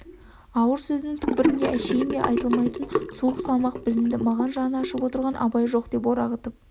ауыр сөзінің түкпірінде әншейінде айтылмайтын суық салмақ білінді маған жаны ашып отырған абай жоқ деп орағытып